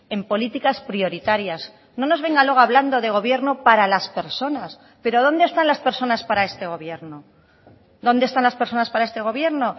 en políticas prioritarias no nos venga luego hablando de gobierno para las personas pero dónde están las personas para este gobierno dónde están las personas para este gobierno